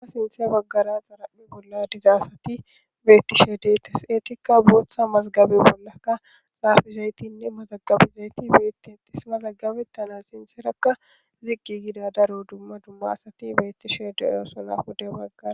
Ha sintha bagara xaraphe bolla diza asati detesi, etika bootha mazigabe bollaka xafizaytinne mazgabizayti betetesi, mazagabetana sintheraka ziqi gida daro dumma dumma asati betishe de'osona, pude bagara ...